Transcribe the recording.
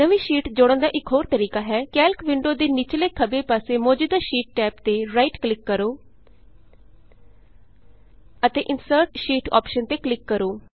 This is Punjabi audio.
ਨਵੀਂ ਸ਼ੀਟ ਜੋੜਨ ਦਾ ਇਕ ਹੋਰ ਤਰੀਕਾ ਹੈ ਕੈਲਕ ਵਿੰਡੋ ਦੇ ਨਿਚਲੇ ਖੱਬੇ ਪਾਸੇ ਮੌਜੂਦਾ ਸ਼ੀਟ ਟੈਬ ਤੇ ਰਾਈਟ ਕਲਿਕ ਕਰੋ ਅਤੇ insert sheet insert sheet option ਤੇ ਕਲਿਕ ਕਰੋ